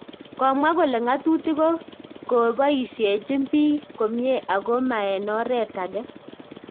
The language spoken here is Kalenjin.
Komwa kole ng'atutik ko koboisiechi biik komyen ako ma en oret age